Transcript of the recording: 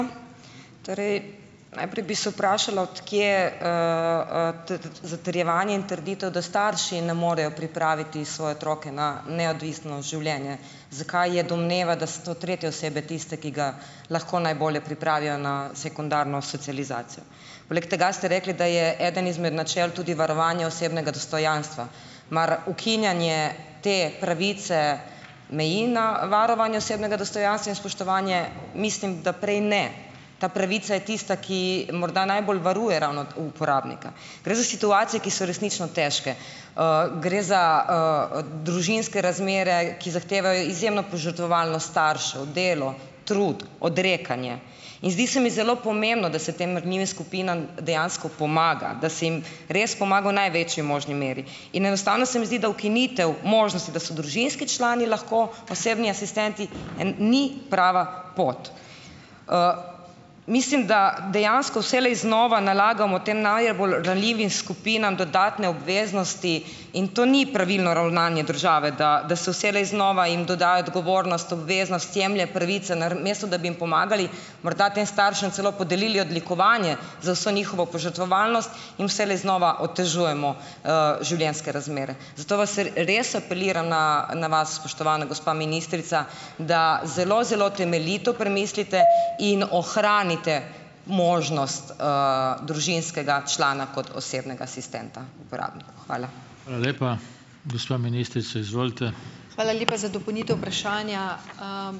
Torej, najprej bi se vprašala, od kje, zatrjevanje in trditev, da starši ne morejo pripraviti svoje otroke na neodvisno življenje. Zakaj je domneva, da so to tretje osebe tiste, ki ga lahko najbolje pripravijo na sekundarno socializacijo? Poleg tega ste rekli, da je eden izmed načel tudi varovanje osebnega dostojanstva. Mar ukinjanje te pravice meji na varovanje osebnega dostojanstva in spoštovanje? Mislim, da prej ne. Ta pravica je tista, ki morda najbolj varuje ravno uporabnika. Gre za situacije, ki so resnično težke. Gre za, družinske razmere, ki zahtevajo izjemno požrtvovalnost staršev, delo, trud, odrekanje. In zdi se mi zelo pomembno, da se tem ranljivim skupinam dejansko pomaga. Da se jim res pomaga v največji možni meri. In enostavno se mi zdi, da ukinitev možnosti, da so družinski člani lahko osebni asistenti, ni prava pot. Mislim, da dejansko vselej znova nalagamo tem najbolj ranljivim skupinam dodatne obveznosti in to ni pravilno ravnanje države, da da se vselej znova jim dodaja odgovornost, obveznost, jemlje pravice, namesto da bi jim pomagali. Morda tem staršem celo podelili odlikovanje, za vso njihovo požrtvovalnost, jim vselej znova otežujemo, življenjske razmere. Zato vas res apeliram na na vas, spoštovana gospa ministrica, da zelo, zelo temeljito premislite in ohranite možnost, družinskega člana kot osebnega asistenta uporabnika. Hvala.